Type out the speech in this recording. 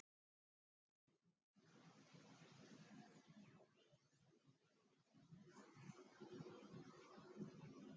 Björn: Menn hafa svolítið fyrir þessu, fylgir þessu ekki aukakostnaður?